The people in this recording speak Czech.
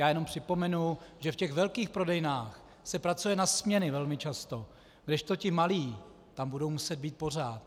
Já jenom připomenu, že v těch velkých prodejnách se pracuje na směny velmi často, kdežto ti malí tam budou muset být pořád.